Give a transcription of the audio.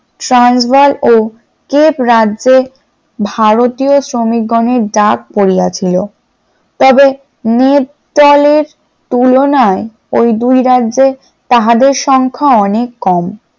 ট্রান্সবার্গ ও কিপ রাজ্য ভারতীয় শ্রমিকগণের ডাক পড়িয়াছিল, তবে মিতালের তুলনায় ওই দুই রাজ্যে তাহাদের সংখ্যা অনেক কম ।